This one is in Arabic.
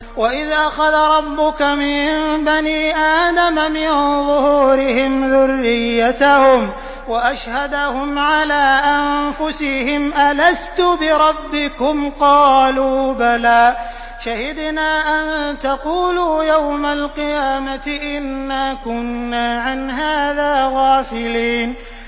وَإِذْ أَخَذَ رَبُّكَ مِن بَنِي آدَمَ مِن ظُهُورِهِمْ ذُرِّيَّتَهُمْ وَأَشْهَدَهُمْ عَلَىٰ أَنفُسِهِمْ أَلَسْتُ بِرَبِّكُمْ ۖ قَالُوا بَلَىٰ ۛ شَهِدْنَا ۛ أَن تَقُولُوا يَوْمَ الْقِيَامَةِ إِنَّا كُنَّا عَنْ هَٰذَا غَافِلِينَ